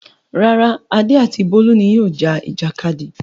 Rárá, Adé àti Bólú ni yóò ja ìjàkadì.